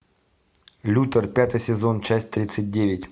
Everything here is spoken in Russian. лютер пятый сезон часть тридцать девять